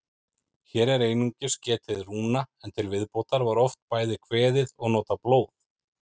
Hér er einungis getið rúna, en til viðbótar var oft bæði kveðið og notað blóð.